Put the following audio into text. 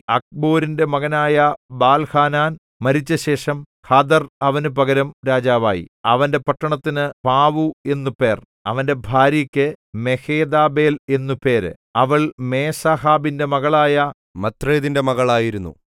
അക്ബോരിന്റെ മകനായ ബാൽഹാനാൻ മരിച്ചശേഷം ഹദർ അവനു പകരം രാജാവായി അവന്റെ പട്ടണത്തിന് പാവു എന്നു പേർ അവന്റെ ഭാര്യക്ക് മെഹേതബേൽ എന്നു പേര് അവൾ മേസാഹാബിന്റെ മകളായ മത്രേദിന്റെ മകൾ ആയിരുന്നു